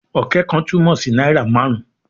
"Ọ̀kẹ́ kan" túmọ̀ sí náírà márùn-ún